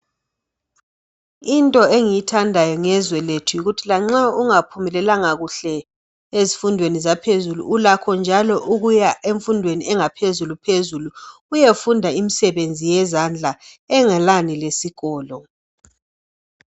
Into engiyithandayo ngezwe lethu yikuthi lanxa ungaphumelelanga kuhle ezifundweni zaphezulu ulakho njalo ukuya emfundweni yangaphezulu uyefunda imsebenzi yezandla engelani lesikolo.